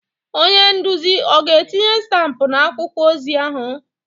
Onye nduzi ọ ga-etinye stampụ na akwụkwọ ozi ahụ?